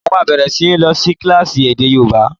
Mo máa bẹ̀rẹ̀ sí ní lọ sí kílásì èdè yóòbá